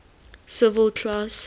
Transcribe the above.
civil class